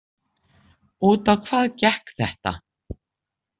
Út á hvað gekk þetta?